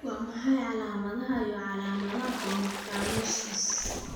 Waa maxay calaamadaha iyo calaamadaha Homocarnosinosis?